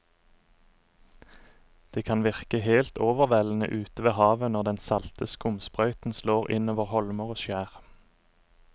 Det kan virke helt overveldende ute ved havet når den salte skumsprøyten slår innover holmer og skjær.